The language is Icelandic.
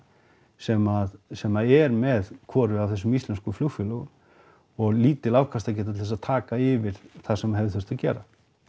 sem sem er með hvoru af þessum íslensku flugfélögum og lítil afkastageta til þess að taka yfir það sem hefði þurft að gera